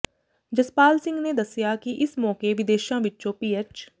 ਜਸਪਾਲ ਸਿੰਘ ਨੇ ਦੱਸਿਆ ਕਿ ਇਸ ਮੌਕੇ ਵਿਦੇਸ਼ਾਂ ਵਿੱਚੋਂ ਪੀਐਚ